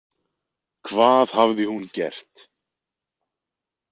Hvað hafði hún gert?